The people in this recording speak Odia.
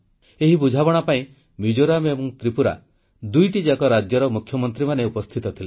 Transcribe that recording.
ଏହି ବୁଝାମଣା ପାଇଁ ମିଜୋରାମ ଏବଂ ତ୍ରିପୁରା ଦୁଇଟିଯାକ ରାଜ୍ୟର ମୁଖ୍ୟମନ୍ତ୍ରୀମାନେ ଉପସ୍ଥିତ ଥିଲେ